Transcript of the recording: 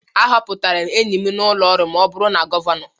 A họpụtara enyi m n'ụlọ ọrụ ma ọ bụrụ na Gọvanọ